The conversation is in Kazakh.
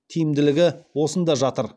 тиімділігі осында жатыр